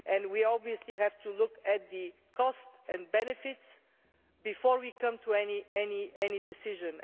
We obviously have to look at the costs and benefits before we come to any decision.